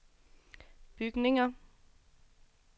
bygninger